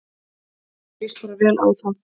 Mér líst bara vel á þá